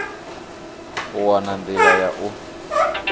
u wana nḓila ya u